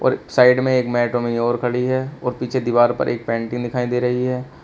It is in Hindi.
साइड में एक मेट्रो मयूर खड़ी है और पीछे दीवार पर एक पेंटिंग लगी दिखाई दे रही है।